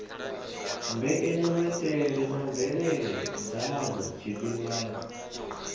mbekanyamaitele na mvelele dzadzo tshifhingani